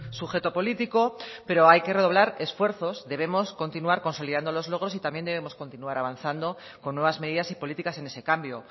sujeto político pero hay que redoblar esfuerzos debemos continuar consolidando los logros y también debemos continuar avanzando con nuevas medidas y políticas en ese cambio